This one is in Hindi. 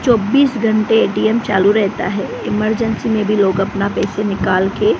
चौबीस घंटे ए_टी_एम चालू रहता हैं इमरजेंसी में भी लोग अपना पैसे निकाल के--